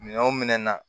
Minɛn wo minɛn na